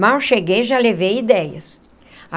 Mal cheguei, já levei ideias.